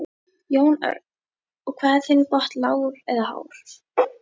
Jón Örn: Og hvað er þinn botn lágur eða hár?